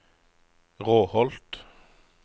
Råholt